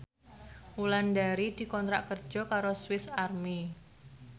Wulandari dikontrak kerja karo Swis Army